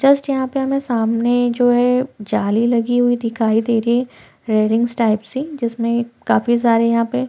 just यहाँ पे हमें सामने जो है जाली लगी हुई दिखाई दे रही है रेलिंग्स टाइप से जिसमें काफी सारे यहाँ पे --